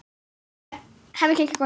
Hemmi kinkar kolli.